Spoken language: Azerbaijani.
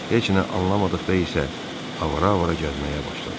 Heç nə anlamadıqda isə avara-avara gəzməyə başladım.